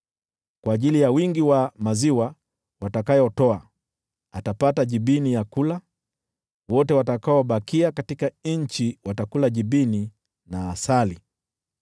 Kwa ajili ya wingi wa maziwa watakayotoa, atapata jibini ya kula. Wote watakaobakia katika nchi watakula jibini na asali.